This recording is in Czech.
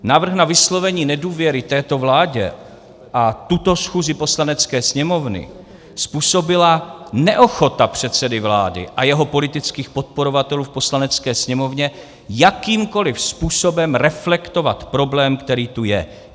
Návrh na vyslovení nedůvěry této vládě a tuto schůzi Poslanecké sněmovny způsobila neochota předsedy vlády a jeho politických podporovatelů v Poslanecké sněmovně jakýmkoli způsobem reflektovat problém, který tu je.